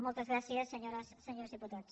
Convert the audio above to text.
moltes gràcies senyores senyors diputats